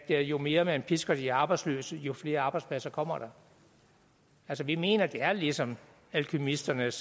jo mere man pisker de arbejdsløse jo flere arbejdspladser kommer der altså vi mener det er ligesom alkymisternes